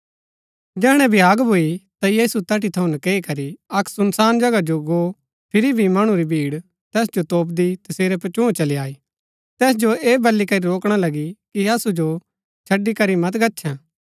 जैहणै भ्याग भूई ता यीशु तैठी थऊँ नकैई करी अक्क सुनसान जगहा जो गो फिरी भी मणु री भीड़ तैस जो तोपदी तसेरै पचूँह चली आई तैस जो ऐह बल्ली करी रोकणा लगी कि असु जो छड़ी करी मत गच्छैं